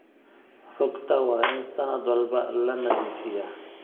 Rugta waa in sanad walba la nadiifiyaa.